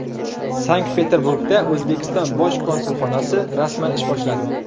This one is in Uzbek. Sankt-Peterburgda O‘zbekiston bosh konsulxonasi rasman ish boshladi.